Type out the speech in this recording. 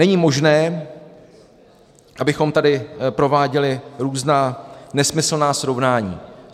Není možné, abychom tady prováděli různá nesmyslná srovnání.